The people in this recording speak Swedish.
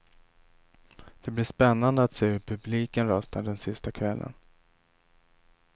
Det blir spännande att se hur publiken röstar den sista kvällen.